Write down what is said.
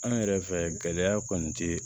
An yɛrɛ fɛ gɛlɛya kɔni te